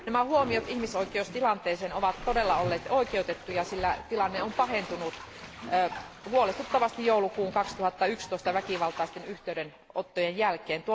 Nämä huomiot ihmisoikeustilanteeseen ovat todella olleet oikeutettuja, sillä tilanne on pahentunut huolestuttavasti joulukuun 2011 väkivaltaisten yhteydenottojen jälkeen.